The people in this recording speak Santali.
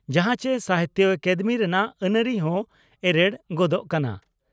ᱡᱟᱦᱟᱸ ᱪᱮ ᱥᱟᱦᱤᱛᱭᱚ ᱟᱠᱟᱫᱮᱢᱤ ᱨᱮᱱᱟᱜ ᱟᱹᱱᱟᱹᱨᱤ ᱦᱚᱸ ᱮᱨᱮᱲ ᱜᱚᱫᱚᱜ ᱠᱟᱱᱟ ᱾